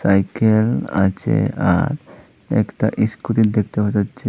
Cycle আছে আর একতা ইসস্কুটি দেখতে পাওয়া যাচ্ছে।